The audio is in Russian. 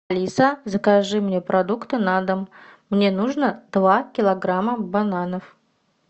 алиса закажи мне продукты на дом мне нужно два килограмма бананов